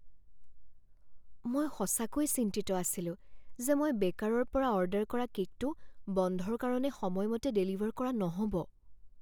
মই সঁচাকৈয়ে চিন্তিত আছিলো যে মই বেকাৰৰ পৰা অৰ্ডাৰ কৰা কে'কটো বন্ধৰ কাৰণে সময়মতে ডেলিভাৰ কৰা নহ'ব।